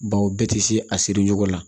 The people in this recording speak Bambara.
Baw bɛɛ tɛ se a siri ɲɔgɔn na